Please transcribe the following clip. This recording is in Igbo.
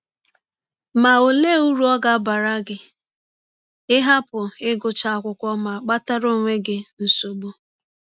Ma, ọlee ụrụ ọ ga - abara gị ịhapụ ịgụcha akwụkwọ ma kpatara ọnwe gị nsọgbụ?